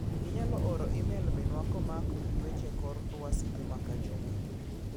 Inyalo oro imel Minwa komako gi weche kor luasi juma ka juma.